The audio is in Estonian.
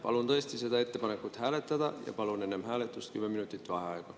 Palun tõesti seda ettepanekut hääletada ja palun enne hääletust 10 minutit vaheaega.